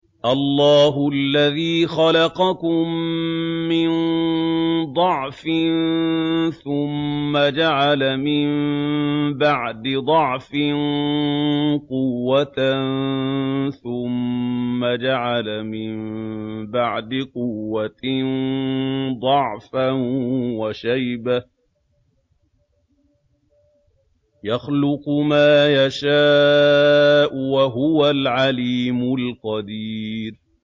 ۞ اللَّهُ الَّذِي خَلَقَكُم مِّن ضَعْفٍ ثُمَّ جَعَلَ مِن بَعْدِ ضَعْفٍ قُوَّةً ثُمَّ جَعَلَ مِن بَعْدِ قُوَّةٍ ضَعْفًا وَشَيْبَةً ۚ يَخْلُقُ مَا يَشَاءُ ۖ وَهُوَ الْعَلِيمُ الْقَدِيرُ